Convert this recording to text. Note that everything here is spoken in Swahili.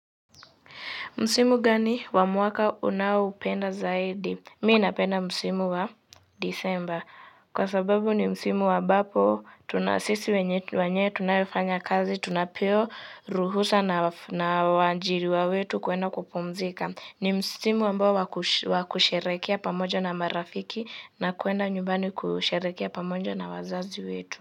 Msimu gani wa mwaka unaoupenda zaidi? Mimi napenda msimu wa Disemba. Kwa sababu ni msimu ambapo, sisi wenye, wenye tunayofanya kazi, tunapewa, ruhusa na wa, waajiriwa wetu kuenda kupumzika. Ni msimu ambao waku, wakusherehekea pamoja na marafiki na kuenda nyumbani kusherehekea pamoja na wazazi wetu.